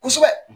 Kosɛbɛ